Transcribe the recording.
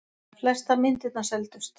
Flestar myndirnar seldust.